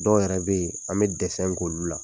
Dɔw yɛrɛ bɛ yen an bɛ k'olu la.